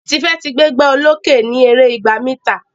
Tife tí gbégbá olokè ní èrè ìgbà mítà.